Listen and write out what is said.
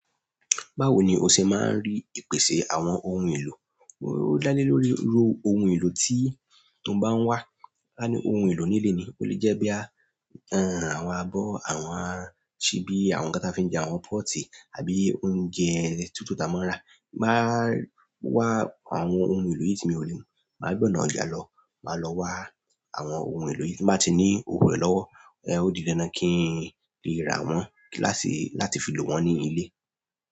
Báwo ni o ṣe máa ń rí ìpèsè àwọn ohun èlò? Ó dá lé lórí irú ohun èlò tí ó bá ń wá. Áh a ní ohun èlò nílé ni. O lè jẹ́ bóyá àwọn abọ́, àwọn ṣíbí, àwọn ǹkan tí a fi ń jẹun, àwọn pọ́ọ̀tì, tàbí oúnjẹ tútù tí a máa ń ra. Máa wá àwọn ohun èlò yìí tí mio lò mọ̀ọ́. Máa kan lọ́wọ́ wọn má lọ wá àwọn ohun èlò yìí tí nbá ti ní òwo rẹ̀ lọ́wọ́. Ẹ ó di dandan kí n lè rà wọ́n láti fi lò wọ́n ní ilé.